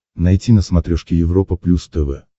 найти на смотрешке европа плюс тв